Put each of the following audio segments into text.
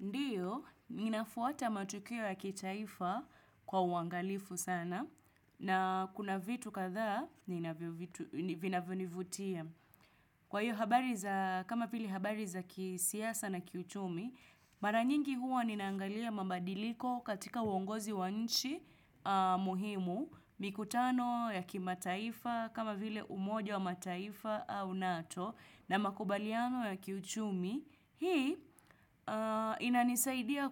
Ndiyo, ninafuata matukio ya kitaifa kwa uangalifu sana, na kuna vitu kadhaa, nina vinavyonivutia. Kwa hiyo habari za kama vile habari za kisiasa na kiuchumi, mara nyingi huwa ninaangalia mabadiliko katika uongozi wa nchi muhimu, mikutano ya kimataifa, kama vile umoja wa mataifa au nato, na makubaliano ya kiuchumi, Hii inanisaidia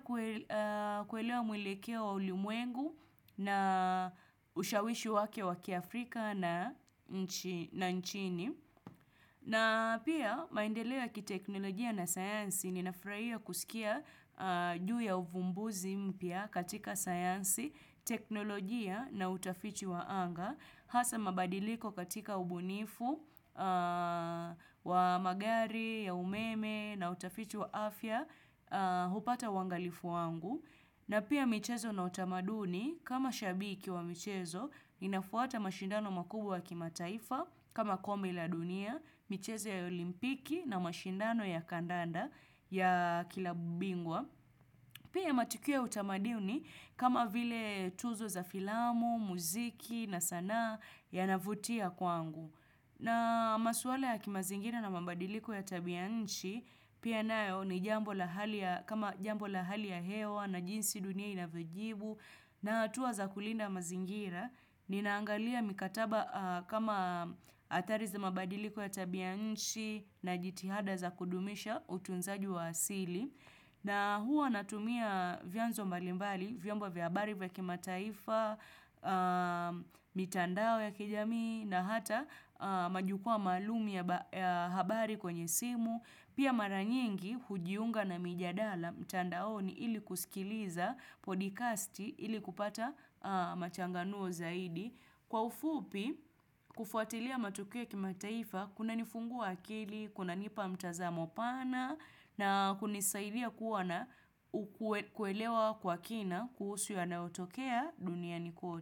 kuelewa mwelekeo wa ulimwengu na ushawishi wake wa kiafrika na nchini. Na pia maendeleo ya kiteknolojia na sayansi ninafurahia kusikia juu ya uvumbuzi mpya katika sayansi, teknolojia na utafiti wa anga. Hasa mabadiliko katika ubunifu wa magari ya umeme na utafitu wa afya hupata uangalifu wangu. Na pia michezo na utamaduni kama shabiki wa mchezo inafuata mashindano makubwa ya kimataifa kama kombi la dunia, michezo ya olimpiki na mashindano ya kandanda ya klabu bingwa. Pia matukio ya utamaduni kama vile tuzo za filamu, muziki na sanaa yanavutia kwangu. Na maswala ya kimazingira na mabadiliko ya tabia nchi, pia nayo ni jambo la hali kama jambo ya hali ya hewa na jinsi dunia inavyojibu na hatua za kulinda mazingira. Ninaangalia mikataba kama adhari za mabadiliko ya tabia nchi na jitihada za kudumisha utunzaji wa asili. Na huwa natumia vyanzo mbalimbali, vyombo vya habari vya kimataifa, mitandao ya kijamii na hata majukwa maalumu ya habari kwenye simu. Pia mara nyingi hujiunga na mijadala mtandaoni ili kusikiliza podcasti ili kupata machanganuo zaidi. Kwa ufupi, kufuatilia matukio ya kimataifa, kunanifungua akili, kunanipa mtazamo pana, na kunisaidia kuwa na ukwe kuelewa kwa kina kuhusu yanaotokea dunia ni kwote.